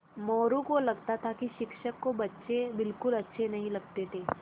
मोरू को लगता था कि शिक्षक को बच्चे बिलकुल अच्छे नहीं लगते थे